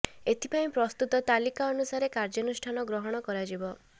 ଏଥି ପାଇଁ ପ୍ରସ୍ତୁତ ତାଲିକା ଅନୁସାରେ କାର୍ଯ୍ୟାନୁଷ୍ଠାନ ଗ୍ରହଣ କରାଯିବ